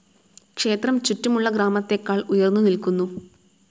ക്ഷേത്രം ചുറ്റുമുള്ള ഗ്രാമത്തേക്കാൾ ഉയർന്ന് നിൽക്കുന്നു.